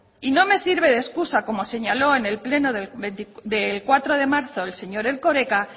y no me sirve de escusa como señaló en el pleno del cuatro de marzo el señor erkoreka